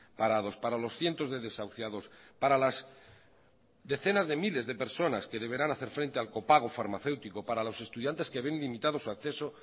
parados para los cientos de desahuciados para las decenas de miles de personas que deberán hacer frente al copago farmacéutico para los estudiantes que ven limitados su acceso